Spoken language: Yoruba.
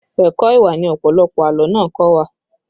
Ẹ̀kọ́ ìwà ni ọ̀pọ̀lọpọ̀ àlọ́ náà kọ́ wa